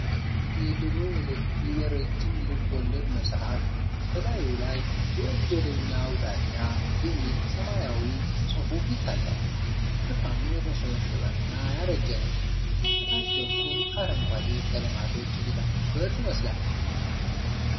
የድሮ የረጅም ልብ ወለድ መጽሐፍ፣ በላዩ ላይ "ወንጀለኛው ዳኛ" የሚል ሰማያዊ ጽሁፍ ይታያል። ሽፋኑ የተሸበሸበና ያረጀ ነው፣ ከታች በኩል አረንጓዴ ቀለማቶች የተደፉበት ይመስላል።